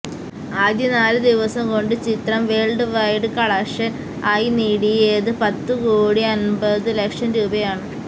ആദ്യ നാല് ദിവസം കൊണ്ട് ചിത്രം വേള്ഡ് വൈഡ് കളക്ഷന് ആയി നേടിയത് പത്തു കോടി അമ്പതു ലക്ഷം രൂപയാണ്